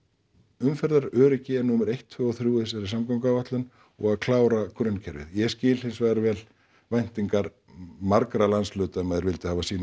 umferðaröryggi er númer eitt tvö og þrjú í þessari samgönguáætlun og að klára grunnkerfið ég skil hins vegar vel væntingar margra landshluta um að þeir vildu hafa sínar